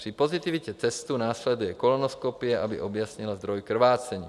Při pozitivitě testu následuje kolonoskopie, aby objasnila zdroj krvácení.